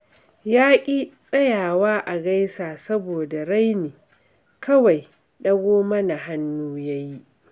Ya ƙi tsayawa a gaisa saboda raini, kawai ɗago mana hannu ya yi